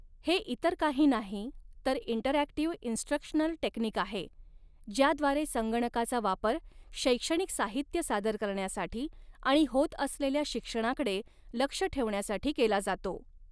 हे इतर काही नाही तर इंटरऍक्टिव इंस्ट्रक्शनल टेक्निक आहे ज्याद्वारे संगणकाचा वापर शैक्षणिक साहित्य सादर करण्यासाठी आणि होत असलेल्या शिक्षणाकडे लक्ष ठेवण्यासाठी केला जातो.